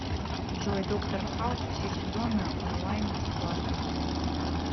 джой доктор хаус все сезоны онлайн бесплатно